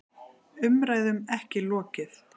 Umræðum ekki lokið